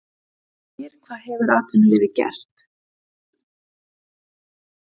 En ég spyr hvað hefur atvinnulífið gert?